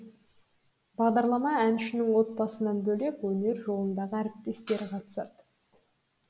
бағдарлама әншінің отбасынан бөлек өнер жолындағы әріптестері қатысады